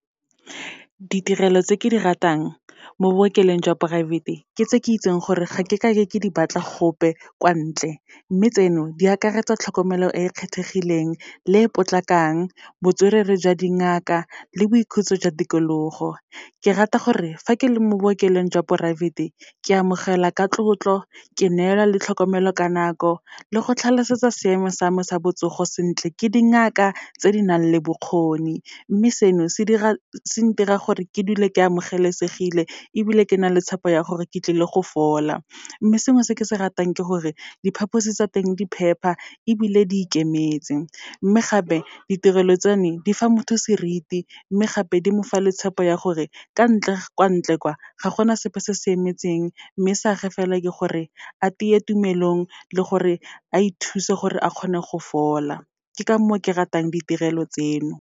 Ditirelo tse ke di ratang mo bookelong jwa poraefete, ke tse ke itseng gore ga ke kake ke di batla gope kwa ntle. Mme tseno di akaretsa, tlhokomelo e e kgethegileng le e potlakang, botswerere jwa dingaka le boikhutso jwa tikologo. Ke rata gore, fa ke le mo bookelong jwa poraefete, ke amogelwa ka tlotlo, ke neelwa le tlhokomelo ka nako, le go tlhalosetswa seemo sa me sa botsogo sentle, ke dingaka tse di nang le bokgoni. Mme seno, se ntirang gore ke dule ke amogelesegile, ebile ke na le tshepo ya gore ke tlile go fola. Mme sengwe se ke se ratang ke gore, diphaphosi tsa teng di phepa, ebile di ikemetse. Mme gape, ditirelo tsa ne di fa motho seriti, mme gape di mo fa le tshepo ya gore kwa ntle kwa, ga gona sepe se se emetseng, mme sa gage fela, ke gore a tiye tumelong, le gore a ithuse gore a kgone go fola. Ke ka moo ke ratang ditirelo tseno.